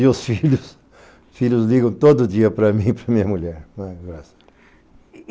E os filhos ligam todo dia para mim e para minha mulher.